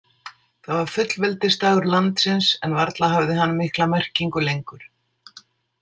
Það var fullveldisdagur landsins, en varla hafði hann mikla merkingu lengur.